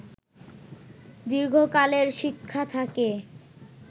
দীর্ঘকালের শিক্ষা থাকে